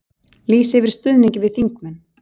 Lýsa yfir stuðningi við þingmenn